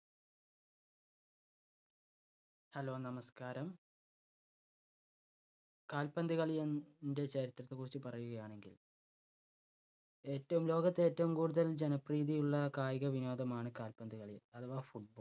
hello നമസ്കാരം. കാൽപ്പന്ത് കളിയി~ൻ്റെ ചരിത്രത്തെ കുറിച്ച് പറയുകയാണെങ്കിൽ ഏറ്റവും ലോകത്ത് ഏറ്റവും കൂടുതൽ ജനപ്രീതി ഉള്ള കായികവിനോദമാണ് കാൽപ്പന്ത് കളി അഥവാ football.